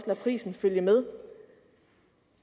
prisen følge med